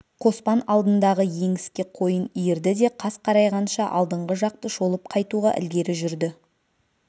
қоспан алдындағы еңіске қойын иірді де қас қарайғанша алдыңғы жақты шолып қайтуға ілгері жүрді